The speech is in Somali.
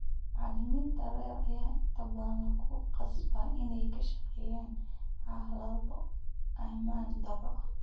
Macallimiinta rer ayaa inta badan lagu khasbaa inay ku shaqeeyaan xaalado ammaan darro ah.